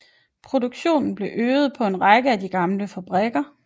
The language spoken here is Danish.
Produktionen blev øget på en række af de gamle fabrikker